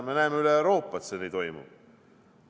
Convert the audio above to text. Me näeme üle Euroopa, et see nii toimub.